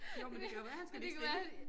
Jo men det kan jo være han skal hviske den ud